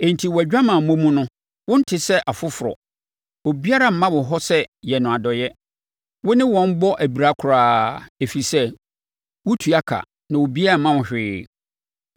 Enti wʼadwamammɔ mu no wonte sɛ afoforɔ; obiara mma wo hɔ sɛ yɛ no adɔeɛ. Wo ne wɔn bɔ abira koraa, ɛfiri sɛ wotua ka na obiara mma wo hwee.